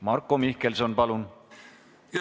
Marko Mihkelson, palun!